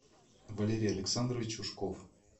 валерий александрович ушков